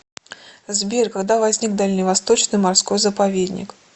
сбер когда возник дальневосточный морской заповедник